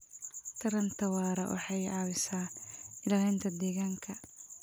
Taranta waara waxay caawisaa ilaalinta deegaanka.